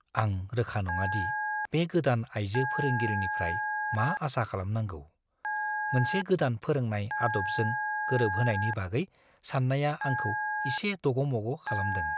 आं रोखा नङा दि बे गोदान आइजो फोरोंगिरिनिफ्राय मा आसा खालामनांगौ। मोनसे गोदान फोरोंनाय आदबजों गोरोबहोनायनि बागै साननाया आंखौ इसे दग'मग' खालामदों।